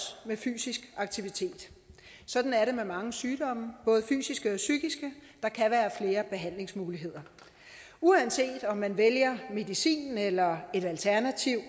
med fysisk aktivitet sådan er det med mange sygdomme både fysiske og psykiske der kan være flere behandlingsmuligheder uanset om man vælger medicin eller et alternativ